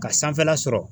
Ka sanfɛla sɔrɔ